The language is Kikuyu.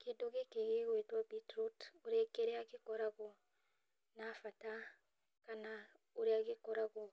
Kĩndũ gĩkĩ gĩgwĩtwo beetroot ũrĩ kĩrĩa gĩkoragwo na bata kana ũrĩa gĩkoragwo